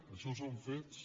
això són fets